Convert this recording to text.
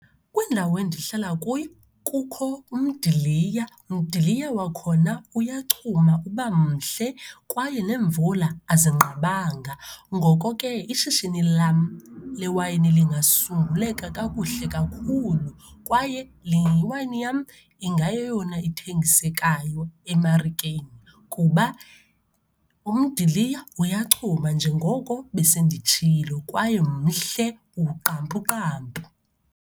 Kwindawo endihlala kuyo kukho umdiliya, mdiliya wakhona uyachuma, uba mhle kwaye neemvula azinqabanga. Ngoko ke, ishishini lam lewayini lingasumbuleka kakuhle kakhulu kwaye lewayini yam ingayeyona ithengisekayo emarikeni, kuba umdiliya uyachuma njengoko besenditshilo kwaye mhle uqampuqampu.